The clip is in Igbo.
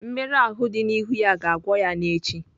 Mmerụ ahụ dị n'ihu ya ga-agwọ ya n'echi.